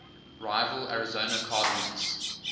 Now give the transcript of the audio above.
rival arizona cardinals